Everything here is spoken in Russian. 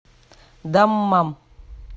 даммам